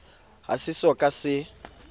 ha se so ka se